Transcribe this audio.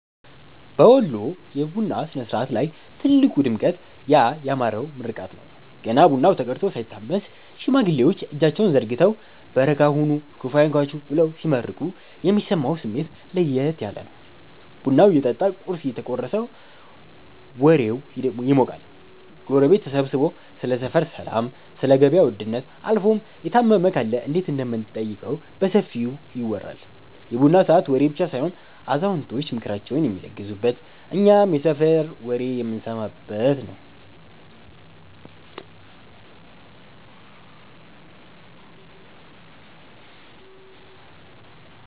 በወሎ የቡና ሥነ-ሥርዓት ላይ ትልቁ ድምቀት ያ ያማረው ምርቃት ነው። ገና ቡናው ተቀድቶ ሳይታመስ፣ ሽማግሌዎች እጃቸውን ዘርግተው "በረካ ሁኑ፤ ክፉ አይንካችሁ" ብለው ሲመርቁ የሚሰማው ስሜት ለየት ያለ ነው። ቡናው እየጠጣ ቁርስ እየተቆረሰም ወሬው ይሞቃል። ጎረቤት ተሰብስቦ ስለ ሰፈር ሰላም፣ ስለ ገበያ ውድነት አልፎም የታመመ ካለ እንዴት እንደምንጠይቀው በሰፊው ይወራል። የቡና ሰዓት ወሬ ብቻ ሳይሆን አዛውንቶች ምክራቸውን የሚለግሱበት፤ እኛም የሰፈር ወሬ የምንሰማበት ነዉ።